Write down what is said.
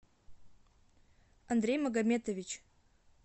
андрей магометович